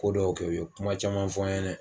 Ko dɔw kɛ u ye kuma caman fɔ n ɲɛnɛ